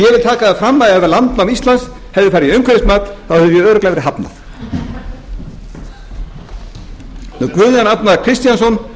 taka það fram að ef landnám íslands hefði farið í umhverfismat þá hefði því örugglega verið hafnað guðjón arnar kristjánsson